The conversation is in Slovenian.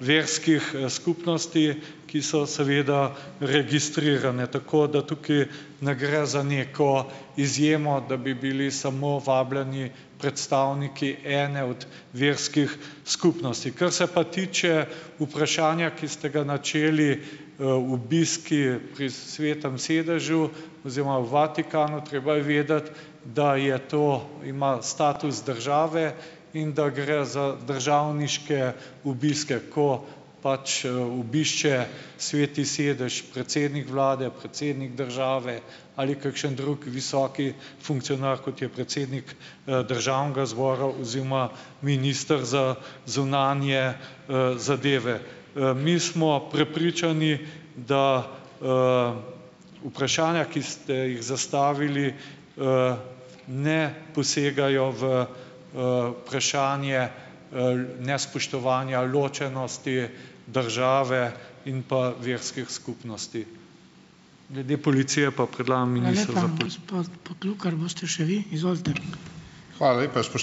verskih, skupnosti, ki so seveda registrirane, tako da tukaj ne gre za neko izjemo, da bi bili samo vabljeni predstavniki ene od verskih skupnosti. Kar se pa tiče vprašanja, ki ste ga načeli, obiski pri Svetem sedežu oziroma v Vatikanu. Treba je vedeti, da je to, ima status države, in da gre za državniške obiske, ko pač, obišče Sveti sedež predsednik vlade, predsednik države ali kakšen drug visoki funkcionar, kot je predsednik, državnega zbora oziroma minister za zunanje, zadeve. Mi smo prepričani, da, vprašanja, ki ste jih zastavili, ne posegajo v, vprašanje, nespoštovanja ločenosti države in pa verskih skupnosti. Glede policije pa predlagam ...